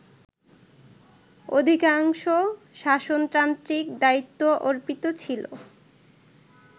অধিকাংশ শাসনতান্ত্রিক দায়িত্ব অর্পিত ছিল